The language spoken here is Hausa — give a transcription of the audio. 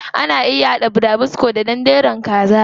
Ana iya haɗa burabusko da danderun kaza.